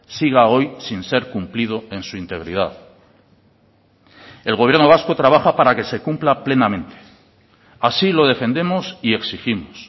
siga hoy sin ser cumplido en su integridad el gobierno vasco trabaja para que se cumpla plenamente así lo defendemos y exigimos